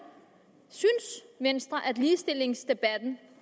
venstre synes at ligestillingsdebatten